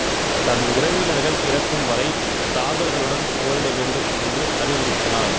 தன் உறவினர்கள் இறக்கும்வரை தாதர்களுடன் போரிட வேண்டும் என்று அறிவுறுத்தினார்